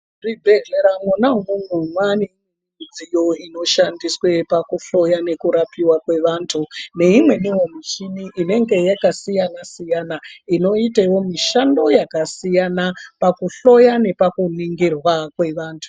Muzvibhedhlera mwona umwomwo, mwaane midziyo inoshandiswe pakuhloya nekurapiwa kwevantu neimweniwo micheni inenge yakasiyana-siyana inoitewo mishando yakasiyana pakuhloya nepakuningirwa kwevantu.